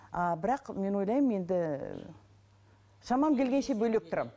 а бірақ мен ойлаймын енді шамам келгенше бөлек тұрамын